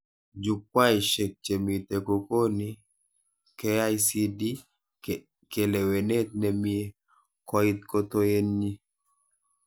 Jukwaishek chemite kokoni KICD kalewenet nemie koit kotoet nyi